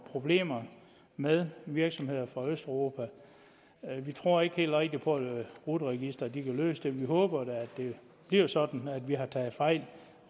problemer med virksomheder fra østeuropa vi tror ikke helt rigtig på at rut registeret kan løse det men vi håber da at det bliver sådan at vi har taget fejl